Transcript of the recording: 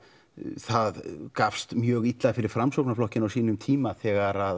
það gafst mjög illa fyrir Framsóknarflokkinn á sínum tíma þegar